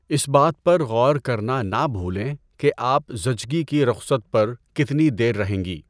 اس بات پر غور کرنا نہ بھولیں کہ آپ زچگی کی رخصت پر کتنی دیر رہیں گی۔